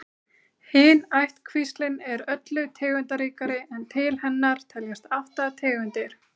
Hin ættkvíslin er öllu tegundaríkari en til hennar teljast átta tegundir.